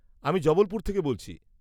আমি জবলপুর থেকে বলছি।